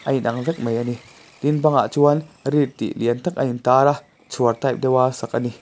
a in ang vek mai a ni tin bangah chuan read tih lian tak a in tak a chhuar type deuh a sak a ni.